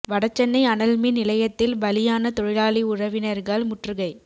வடசென்னை அனல்மின் நிலையத்தில் பலியான தொழிலாளி உறவினர்கள் முற்றுகை